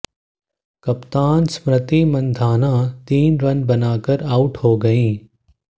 कप्तान स्मृति मंधाना तीन रन बनाकर आउट हो गयीं